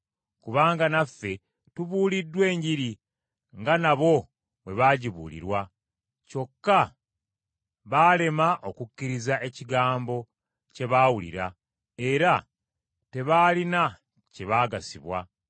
Kubanga naffe tubuuliddwa Enjiri, nga nabo bwe baagibuulirwa. Kyokka baalema okukkiriza ekigambo kye baawulira, era tebaalina kye baagasibwa.